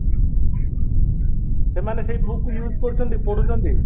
ସେମାନେ ସେଇ book କୁ use କରୁଛନ୍ତି ପଢୁଛନ୍ତି